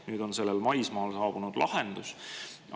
Nüüd on sellele maismaal saabunud lahendus.